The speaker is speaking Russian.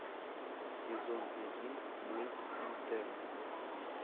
сезон один мульт интерны